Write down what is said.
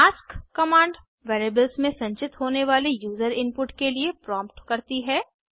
ask command variables में संचित होने वाले यूजर इनपुट के लिए प्रोम्ट करती है